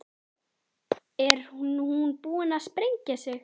Er hún búin að sprengja sig?